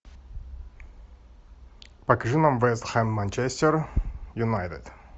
покажи нам вест хэм манчестер юнайтед